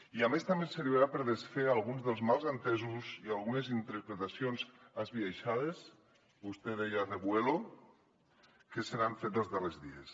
i a més també em servirà per desfer alguns dels malentesos i algunes interpretacions esbiaixades vostè en deia revuelo que s’han fet els darrers dies